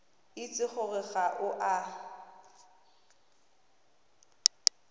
itse gore ga o a